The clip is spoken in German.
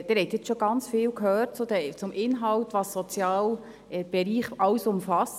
Sie haben schon ganz viel gehört zum Inhalt, was der soziale Bereich eigentlich umfasst.